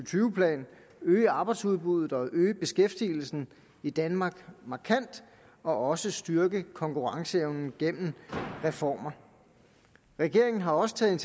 plan øge arbejdsudbuddet og øge beskæftigelsen i danmark markant og også styrke konkurrenceevnen gennem reformer regeringen har også taget